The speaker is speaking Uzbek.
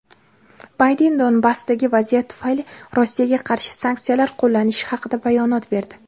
Bayden Donbassdagi vaziyat tufayli Rossiyaga qarshi sanksiyalar qo‘llanilishi haqida bayonot berdi.